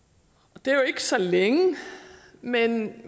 og det er jo ikke så længe men